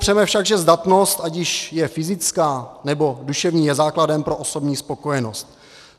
Nepopřeme však, že zdatnost, ať již je fyzická, nebo duševní, je základem pro osobní spokojenost.